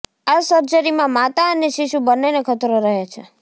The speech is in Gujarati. આ સર્જરીમાં માતા અને શિશુ બંનેને ખતરો રહે છે